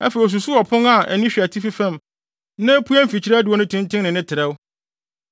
Afei osusuw ɔpon a ani hwɛ atifi fam na epue mfikyiri adiwo no tenten ne ne trɛw.